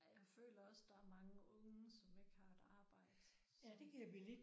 Ej jeg føler også der er mange unge som ikke har et arbejde så